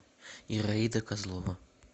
ираида козлова